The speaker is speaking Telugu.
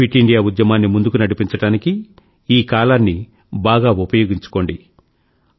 ఫిట్ ఇండియా ఉద్యమాన్ని ముందుకు నడిపించడానికి ఈ కాలాన్ని బాగా ఉపయోగించుకోండి